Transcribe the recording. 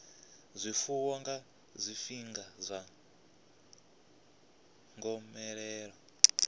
zwifuwo nga zwifhinga zwa gomelelo